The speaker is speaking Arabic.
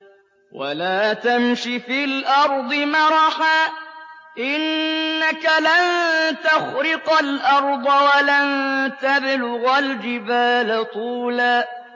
وَلَا تَمْشِ فِي الْأَرْضِ مَرَحًا ۖ إِنَّكَ لَن تَخْرِقَ الْأَرْضَ وَلَن تَبْلُغَ الْجِبَالَ طُولًا